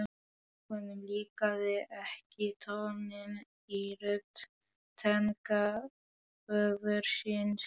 Honum líkaði ekki tónninn í rödd tengdaföður síns.